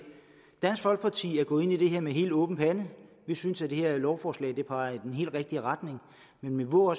dansk folkeparti er gået ind i det her med helt åben pande vi synes at det her lovforslag peger i den helt rigtige retning men vi må